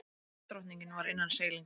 Ísdrottningin var innan seilingar.